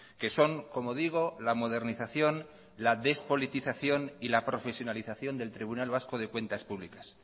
que son como digo la modernización la despolitización y la profesionalización del tribunal vasco de cuentas públicas